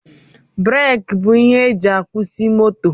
Breeki bụ ihe e ji akwusi moto